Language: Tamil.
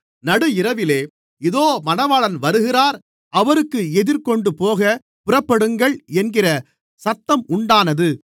நடு இரவிலே இதோ மணவாளன் வருகிறார் அவருக்கு எதிர்கொண்டுபோகப் புறப்படுங்கள் என்கிற சத்தம் உண்டானது